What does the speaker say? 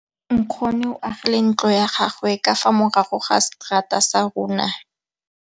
Nkgonne o agile ntlo ya gagwe ka fa morago ga seterata sa rona.